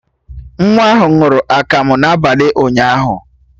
Nwa ahụ ṅụrụ akamụ n'abalị ụnyaahụ